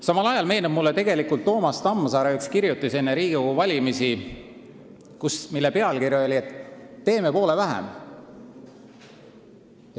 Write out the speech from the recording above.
Samal ajal meenub mulle Toomas Tamsari üks kirjutis enne Riigikogu valimisi, mille pealkiri oli "Teeme poole vähem".